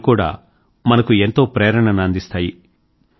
అవి కూడా మనకు ఎంతో ప్రేరణను అందిస్తాయి